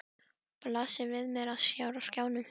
Blasir við mér hér á skjánum!